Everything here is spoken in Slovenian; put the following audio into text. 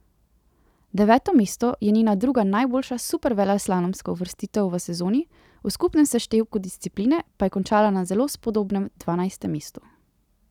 Deveto mesto je njena druga najboljša superveleslalomska uvrstitev v sezoni, v skupnem seštevku discipline pa je končala na zelo spodobnem dvanajstem mestu.